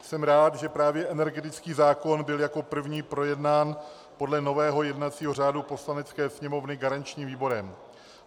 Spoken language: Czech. Jsem rád, že právě energetický zákon byl jako první projednán podle nového jednacího řádu Poslanecké sněmovny garančním výborem.